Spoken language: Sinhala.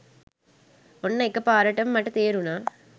ඔන්න එක පාරටම මට තේරුණා